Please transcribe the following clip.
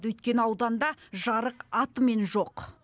өйткені ауданда жарық атымен жоқ